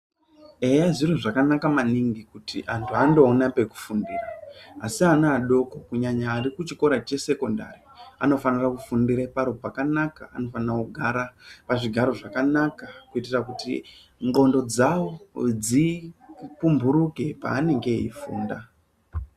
Eya zviro zvakanaka maningi kuti anthu andoona pekufundira asi ana adoko kunyanya ari kuchikora chesekondari anofanira kufindira paro pakanaka anofanira kugara pazvifaro zvakanaka kuitira kuti ndxondo dzao dzipumburuke paanenge eifunda.